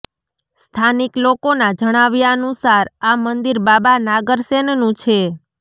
સ્થાનિક લોકોના જણાવ્યાનુસાર આ મંદિર બાબા નાગર સેનનું છે